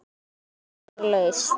Ein staða var laus.